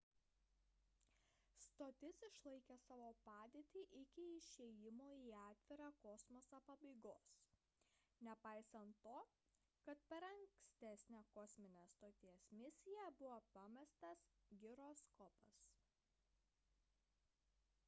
stotis išlaikė savo padėtį iki išėjimo į atvirą kosmosą pabaigos nepaisant to kad per ankstesnę kosminės stoties misiją buvo pamestas giroskopas